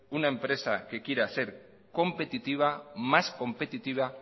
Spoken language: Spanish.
una empresa que quiera se competitiva más competitiva